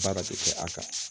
Baara tɛ kɛ a kan